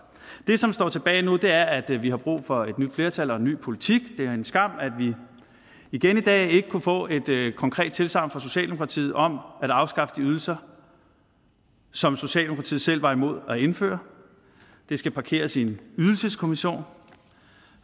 det som står tilbage nu er at vi vi har brug for et nyt flertal og en ny politik det er en skam at vi igen i dag ikke kunne få et konkret tilsagn fra socialdemokratiet om at afskaffe de ydelser som socialdemokratiet selv var imod at indføre det skal parkeres i en ydelseskommission